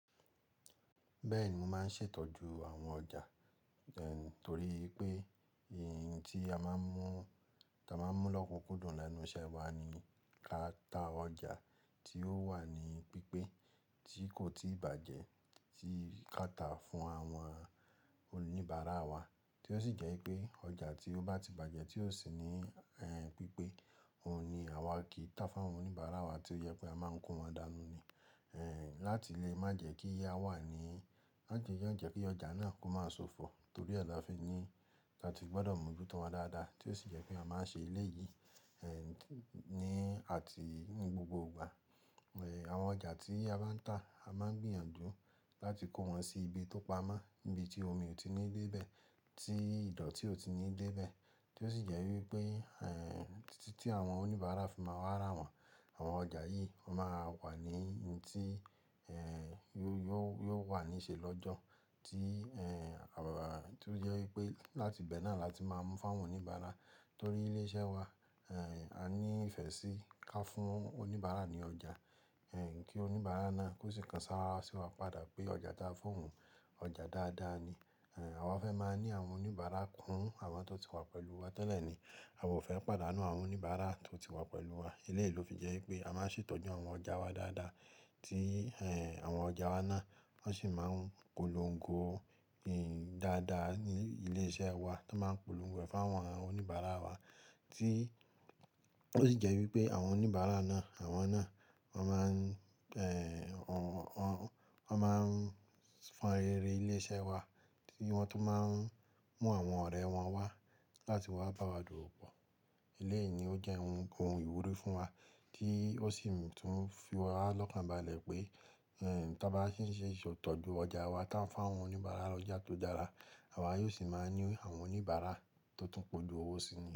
Bẹ́ẹ̀ni, mo máa ń ṣètọ́jú àwọn ọjà, torí pé eyín tí a máa ń mú, tí a máa ń mú lọ́kùnkúndùn lẹ́nu iṣẹ́ wa ni ká ta ọjà tí ó wà ní pípé, tí kò ti bàjẹ́, tí ká ta fún àwọn oníbàárà wa, tí ó sì jẹ́ pé ọjà tí ó bá ti bàjẹ́ tí ó sì ní pípé, òun ni àwa kì í ta fún àwọn oníbàárà wa, tí ó yẹ pé a máa ń kó wọn dànù ni. Láti lè má jẹ́ kí iyá wà ní, má jẹ́ kí ọjà náà kó máa sofo, torí la fi ní kí a ti gbọdọ̀ mójútó wọn dáadáa, tí ó sì jẹ́ pé a máa ń ṣe ilé yìí, ní àti ní gbogbo ìgbà. Àwọn ọjà tí a bá ń ta, a máa ń gbìyànjú láti kó wọn sí ibi tó pamọ́, ibi tí omi ò tí ní dé bẹ́ẹ̀, tí ìdọ̀tí ò tí ní dé bẹ́ẹ̀, tí ó sì jẹ́ wípé tí àwọn oníbàárà fi máa wá ra wọn, àwọn ọjà yìí ó máa wà ní ohun tí yóò wà níṣe lọ́jọ́, tí ó jẹ́ wípé láti bẹ́ẹ̀ náà la ti máa ń mú fún àwọn oníbàárà. Torí ilé iṣẹ́ wa, a ní ìfẹ́ sí ká fún oníbàárà ní ọjà, kí oníbàárà náà kó sì kan ṣàrá sí wa padà pé ọjà táa fún òun, ọjà dáadáa ni. Àwa fẹ́ máa ní àwọn oníbàárà kún àwọn tó ti wà pẹ̀lú wa tẹ́lẹ̀ ni. A kò fẹ́ pàdánù àwọn oníbàárà tó ti wà pẹ̀lú wa. Ilé yìí ló fi jẹ́ pé a máa ń ṣètọ́jú àwọn ọjà wa dáadáa, tí àwọn ọjà wa náà wọ́n sì máa ń polongo dáadáa ní ilé iṣẹ́ wa, tó máa ń polongo rẹ̀ fún àwọn oníbàárà wa, tí ó sì jẹ́ wípé àwọn oníbàárà náà, àwọn náà wọ́n máa ń, wọ́n máa ń fọn rere ilé iṣẹ́ wa, tí wọ́n tó máa ń mú àwọn ọ̀rẹ́ wọn wá láti wá bá wa dòwopọ̀. È leyìí ni ó jé ohun ìwúrí fún wa ki ó sì tún fi wa lókàn balè pé tá a bá se ìtójú ojà wa tá a fún àwon oníbàárà ní ojà tó dára awa yó si máa ní àwon oníbàárà tó tún máa ń po ju owó sí ni.